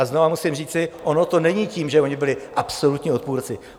A znovu musím říci - ono to není tím, že oni byli absolutní odpůrci.